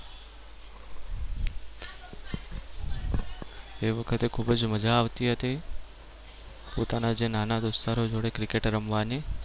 એ વખતે ખૂબ જ મજા આવતી હતી. પોતાના જે નાના દોસ્તરો જોડે cricket રમવાની.